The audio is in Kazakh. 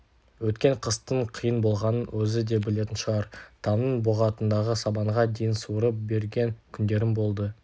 өткен қыстың қиын болғанын өзі де білетін шығар тамның боғатындағы сабанға дейін суырып берген күндерім болды